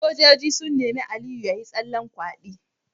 Sojojin sun nemi Aliyu yayi tsallen kwadi